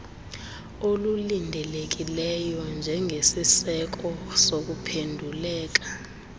olulindelekileyo njengesiseko sokuphenduleka